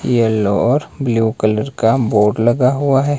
Yellow or blue colour का board लगा हुआ है।